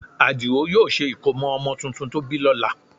Àdìó yóò ṣe ìkómọ ọmọ tuntun tó bí lọ́la